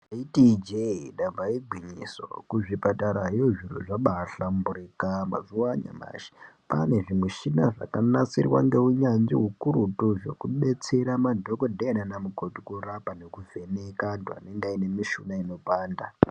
Taiti ijee damba igwinyiso kuti kuzvipatarayo zviro zvabaahlamburika . Mazuva anyamashi kwane zvimichina zvakanasirwa ngehunyanzvi hukurututu zvekubetsera madhokoteya namukoti kurapa nekuvheneka mishuna inopanda.